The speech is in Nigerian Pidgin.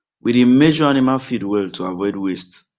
we dey measure animal feed well to avoid waste